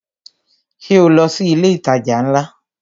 Ṣé o lọ sí ilé itaja ńlá?